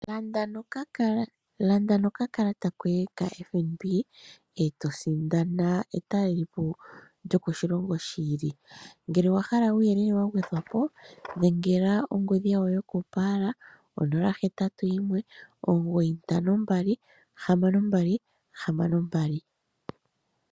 Landa nokakalata koye kaFNB, e to sindana etalelopo lyokoshilongo shi ili. Ngele owa hala uuyelele wa gwedhwa po, dhengela ongodhi yawo yokopaala, onola, hetatu, yimwe, omugoyi ntano, mbali, hamano, mbali, hamano mbali.